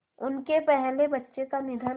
उनके पहले बच्चे का निधन